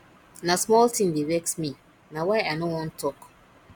na small tin dey vex me na why i no wan tok